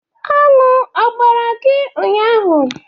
Aṅụ ọ gbara gị ụnyaahụ?